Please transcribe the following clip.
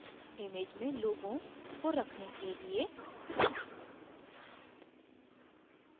image में लोगों को रखने के लिए